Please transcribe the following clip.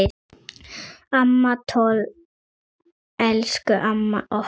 Amma Toll, elsku amma okkar.